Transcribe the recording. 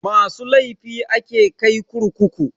Masu laifi ake kai kurkuku.